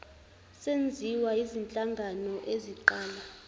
senziwa yizinhlangano eziqala